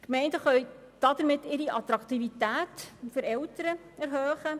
Die Gemeinden können damit ihre Attraktivität für Eltern erhöhen.